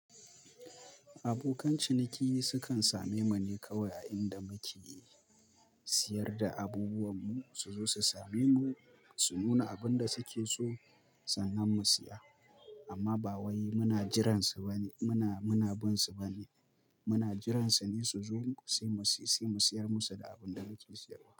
Abokan ciniki sukan same mu ne kawai, inda muke siyar da abubuwanmu suzo su same mu, su nuna abin da suke so sannan mu siya. Amma ba wai muna jiran su ba ne, muna, muna bin su ba ne. Muna jiran su ne su zo sai mu, sai mu siyar musu da abin da muke siyarwa.